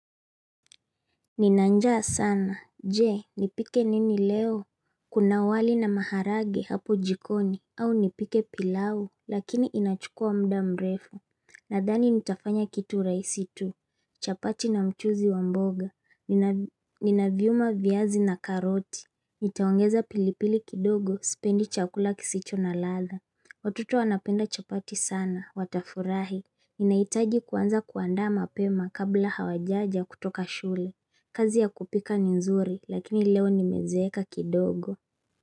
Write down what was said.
Nina njaa sana. Je, nipike nini leo? Kuna wali na maharage hapo jikoni. Au nipike pilau, lakini inachukua muda mrefu. Nadhani nitafanya kitu rahisi tu chapati na mchuzi wa mboga. Nina viuma, viazi na karoti. Nitaongeza pilipili kidogo, sipendi chakula kisicho na ladha. Watoto wanapenda chapati sana, watafurahi. Inahitaji kuanza kuandaa mapema kabla hawajaja kutoka shule. Kazi ya kupika ni nzuri, lakini leo nimezeeka kidogo.